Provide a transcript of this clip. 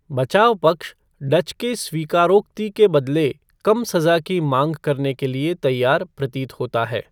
बचाव पक्ष डच के स्वीकारोक्ति के बदले कम सजा की माँग करने के लिए तैयार प्रतीत होता है।